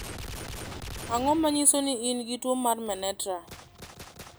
Ang'o ma nyiso ni in gi tuo mar Menetrier?